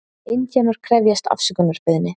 Indíánar krefjast afsökunarbeiðni